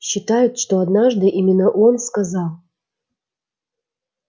считают что однажды именно он сказал